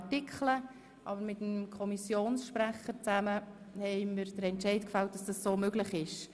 Zusammen mit dem Präsidenten und Sprecher der SiK haben wir uns dann entschieden, dass das möglich ist.